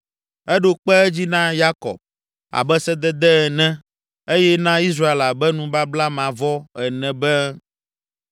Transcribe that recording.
Eɖo kpe edzi na Yakob Abe sedede ene eye na Israel abe nubabla mavɔ ene be: